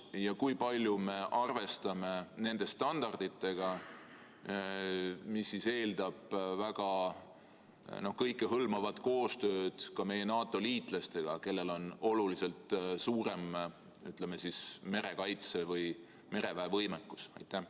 Ja kui palju me arvestame nende standarditega, mis eeldavad kõikehõlmavat koostööd ka meie NATO-liitlastega, kellel on oluliselt suurem merekaitse- või mereväevõimekus?